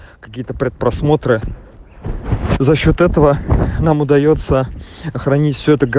какие-то пред просмотры за счёт этого нам удаётся хранить все это гов